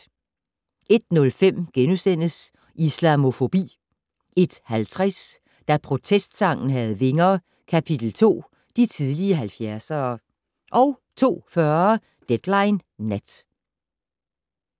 01:05: Islamofobi * 01:50: Da protestsangen havde vinger - kapitel 2: De tidligere 70'ere 02:40: Deadline Nat